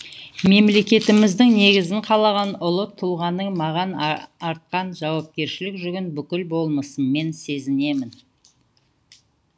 мемлекетіміздің негізін қалаған ұлы тұлғаның маған артқан жауапкершілік жүгін бүкіл болмысыммен сезінемін